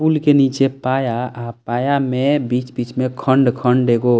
पुल के नीचे पाया अ पाया में बीच-बीच में खण्ड-खण्ड एगो --